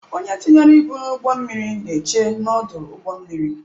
Onye tinyere ibu n'ụgbọ mmiri na-eche n'ọdụ ụgbọ mmiri.